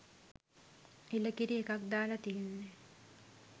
එළකිරි එකක් දාලා තියෙන්නෙ.